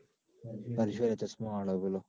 હર્ષયો લા ચશ્માંવાળો પેલો.